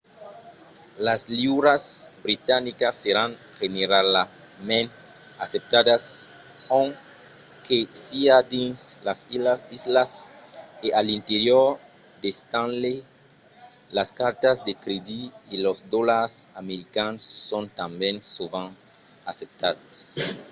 las liuras britanicas seràn generalament acceptadas ont que siá dins las islas e a l'interior de stanley las cartas de crèdit e los dolars americans son tanben sovent acceptats